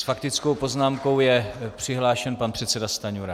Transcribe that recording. S faktickou poznámkou je přihlášen pan předseda Stanjura.